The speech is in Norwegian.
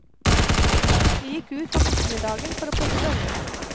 Vi gikk ut om ettermiddagen for å plukke bønner.